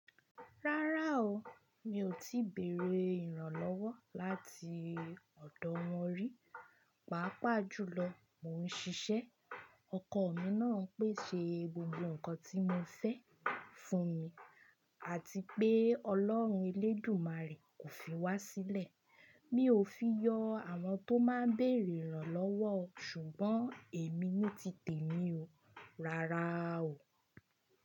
Rárá o, mi ò tí bèrè ìrànlọ́wọ́ láti ọ̀dọ̀ wọn rí. Pàápàá jùlọ mo ń ṣiṣẹ́, ọkọ mi náà ń pèsè gbogbo nǹkan tí mo fẹ́ fún mi àti pé Ọlọ́run Elédùmarè kò fi wá sílẹ̀. Mi ò fi yọ àwọn tó máa ń bèrè ìrànlọ́wọ́ o ṣùgbọ́n èmi ní tì tèmi o. Rárá o.